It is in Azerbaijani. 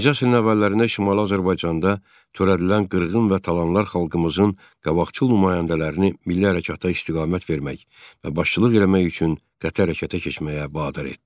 20-ci əsrin əvvəllərində Şimali Azərbaycanda törədilən qırğın və talanlar xalqımızın qabaqcıl nümayəndələrini milli hərəkata istiqamət vermək və başçılıq eləmək üçün qəti hərəkətə keçməyə vadar etdi.